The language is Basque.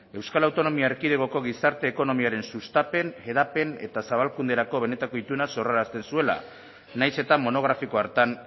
euskal autonomia erkidegoko gizarte ekonomiaren sustapen hedapen eta zabalkunderako benetako ituna zor arazten zuela nahiz eta monografiko hartan